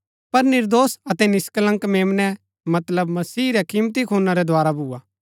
पर निर्दोष अतै निष्कलंक मेम्नै मतलब मसीह रै किमती खूना रै द्धारा भूआ